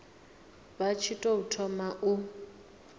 vha tshi tou thoma u